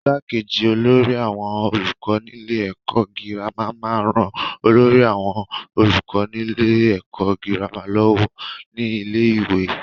igbákejì olórí àwọn olùkọ́ nílé ẹ̀kọ́ gírámà máa ń ran olórí àwọn olùkọ nílé ẹ̀kọ́ gírámà lọ́wọ́ ní ilé-ìwé.